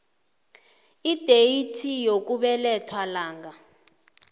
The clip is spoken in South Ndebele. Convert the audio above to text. ideyithi yokubelethwa lang